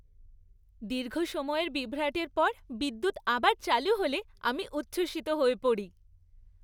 দীর্ঘ সময়ের বিভ্রাটের পর বিদ্যুৎ আবার চালু হলে আমি উচ্ছ্বসিত হয়ে পড়ি।